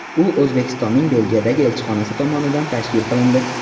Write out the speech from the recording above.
U O‘zbekistonning Belgiyadagi elchixonasi tomonidan tashkil qilindi.